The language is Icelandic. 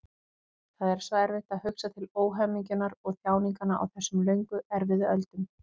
Það er svo erfitt að hugsa til óhamingjunnar og þjáninganna á þessum löngu erfiðu öldum.